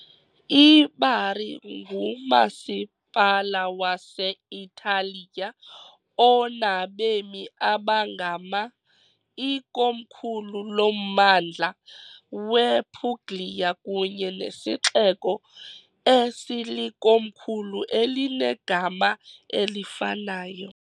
IBari ngumasipala wase-Italiya onabemi abangama , ikomkhulu lommandla wePuglia kunye nesixeko esilikomkhulu elinegama elifanayo .